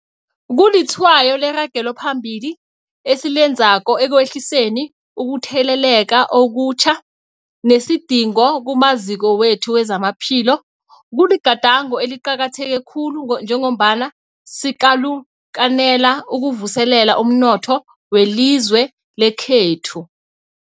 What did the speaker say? Kulitshwayo leragelo phambili esilenzako ekwehliseni ukutheleleka okutjha nesidingo kumaziko wethu wezamaphilo. Kuligadango eliqakatheke khulu njengombana sikalukanela ukuvuselela umnotho welizwe lekhethu.